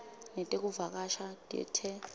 netekuvakasha dea t